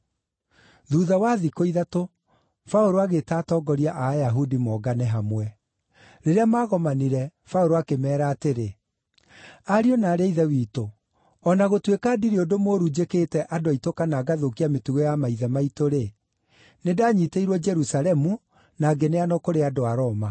Thuutha wa thikũ ithatũ, Paũlũ agĩĩta atongoria a Ayahudi mongane hamwe. Rĩrĩa maagomanire, Paũlũ akĩmeera atĩrĩ, “Ariũ na aarĩ a Ithe witũ, o na gũtuĩka ndirĩ ũndũ mũũru njĩkĩte andũ aitũ kana ngathũkia mĩtugo ya maithe maitũ-rĩ, nĩndanyiitĩirwo Jerusalemu na ngĩneanwo kũrĩ andũ a Roma.